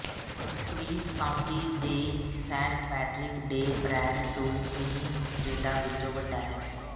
Queens County ਦੇ Saint Patrick Day parade ਦੋ Queens ਪਰੇਡਾਂ ਵਿੱਚੋਂ ਵੱਡਾ ਹੈ